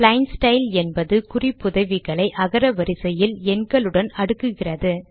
plain style என்பது குறிப்புதவிகளை அகர வரிசையில் எண்களுடன் அடுக்குகிறது